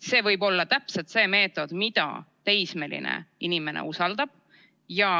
See võib olla täpselt see meetod, mida teismeline inimene usaldab.